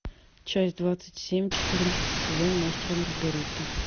часть двадцать семь четырнадцатый сезон мастер и маргарита